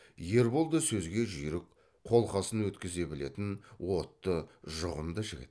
ербол да сөзге жүйрік қолқасын өткізе білетін отты жұғымды жігіт